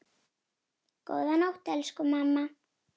Góða nótt, elsku mamma.